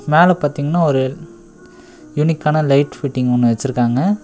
மேல பாத்தீங்கன்னா ஒரு யூனிக்கான லைட் ஃபிட்டிங் ஒன்னு வெச்சிருக்காங்க.